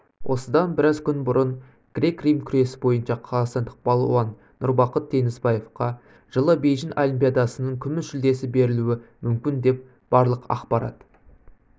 осыдан біраз күн бұрын грек-рим күресі бойынша қазақстандық балуан нұрбақыт теңізбаевқа жылы бейжің олимпиадасының күміс жүлдесі берілуі мүмкін деп барлық ақпарат